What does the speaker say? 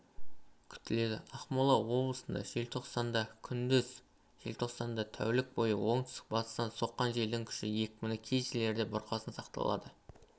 күтіледі ақмола облысында желтоқсандакүндіз желтоқсанда тәулік бойыоңтүстік-батыстан соққан желдің күші екпіні кей жерлерде бұрқасын сақталады